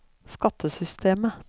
skattesystemet